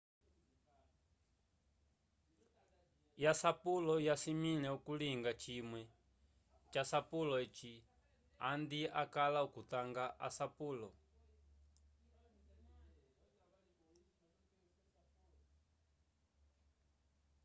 ko tete una ho yongele yasapulo wasimile okulinga cimwe ja sapulo eci andi akala okutanga asapulo